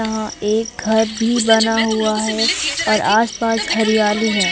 यहां एक घर भी बना हुआ है और आसपास हरियाली है।